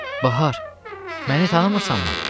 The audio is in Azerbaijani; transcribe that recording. Bahar, məni tanımırsanmı?